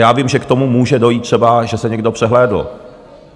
Já vím, že k tomu může dojít třeba, že to někdo přehlédl.